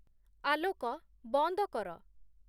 ଆଲୋକ ବନ୍ଦ କର